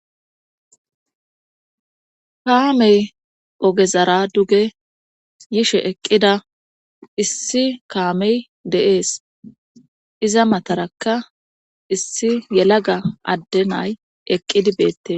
Kaamey ogezara duge yishe eqqida issi kaamey de'es iza matarakka issi yelaga adde nay eqqidi beettes